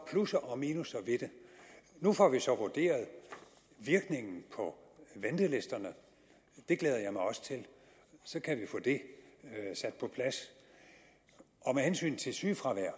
plusser og minusser ved det nu får vi så vurderet virkningen på ventelisterne det glæder jeg mig også til så kan vi få det sat på plads og med hensyn til sygefravær